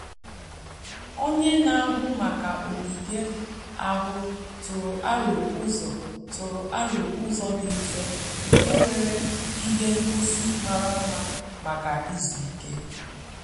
Onye na-ahụ maka ogige ahụ tụrụ aro ụzọ tụrụ aro ụzọ dị mfe nke nwere ihe ngosi mara mma maka izu ike.